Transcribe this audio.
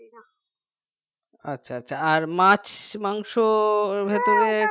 আচ্ছা আচ্ছা আর মাছ মাংসর ভেতরে